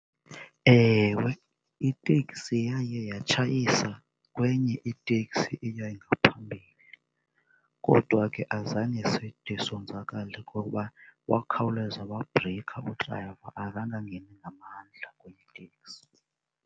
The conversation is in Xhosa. Ewe, iteksi yaye yatshayisa kwenye itekisi eyayingaphambili. Kodwa ke azange side sonzakale ngokuba wakhawuleza wabhrikha udrayiva azange angene ngamandla kwiteksi.